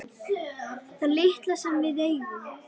Það litla sem við eigum.